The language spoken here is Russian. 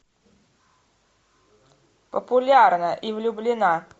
популярна и влюблена